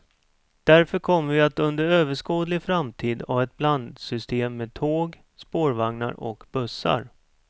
Därför kommer vi att under överskådlig framtid ha ett blandsystem med tåg, spårvagnar och bussar.